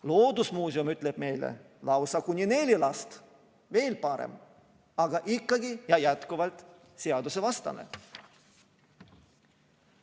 Loodusmuuseum ütleb meile lausa kuni neli last – veel parem, aga ikkagi ja jätkuvalt seadusevastane.